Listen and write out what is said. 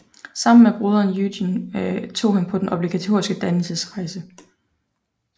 Sammen med broderen Eugen tog han på den obligatoriske dannelsesrejse